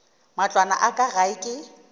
matlwana a ka gae ke